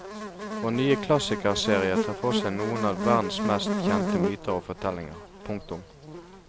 Vår nye klassikerserie tar for seg noen av verdens mest kjente myter og fortellinger. punktum